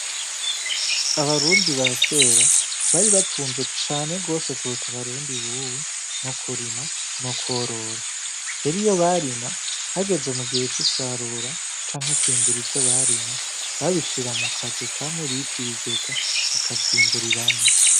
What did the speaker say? Abarundi ba kera bari batunzwe cane rwose kuruta abarundi bubu no kurima no kworora heriyo barima hageze mu gihe c'isarura canke kwimbura ivyo abarima babishira mu kazu kamwe biti bigega bakavyimburiramwo.